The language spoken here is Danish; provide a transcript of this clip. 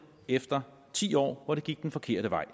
efter ti år hvor det gik den forkerte vej